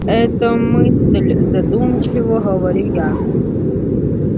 это мысль задумчиво говорю я